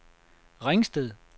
Ringsted